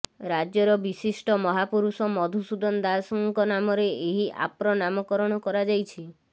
ରାଜ୍ୟର ବିଶିଷ୍ଟ ମହାପୁରୁଷ ମଧୁସୂଦନ ଦାସଙ୍କ ନାମରେ ଏହି ଆପ୍ର ନାମକରଣ କରାଯାଇଛି